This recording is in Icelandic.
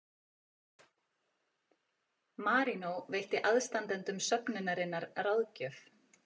Marínó veitti aðstandendum söfnunarinnar ráðgjöf